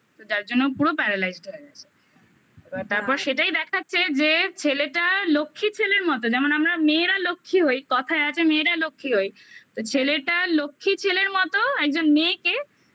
তো যার জন্য পুরো paralyzed হয়ে গেছে । এবার তারপর সেটাই দেখাচ্ছে যে ছেলেটা লক্ষী ছেলের মতো যেমন আমরা মেয়েরা লক্ষ্মী হই কথায় আছে মেয়েরা লক্ষ্মী হই তো ছেলেটা লক্ষী ছেলের মতো একজন মেয়েকে